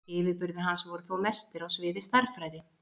Yfirburðir hans voru þó mestir á sviði stærðfræði.